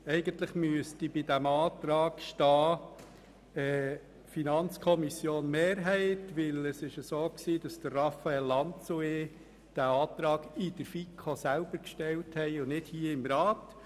Eigentlich müsste bei diesem Antrag stehen, dass er von der Mehrheit der FiKo stammt, denn Raphael Lanz und ich haben ihn in der FiKo gestellt und nicht hier im Rat.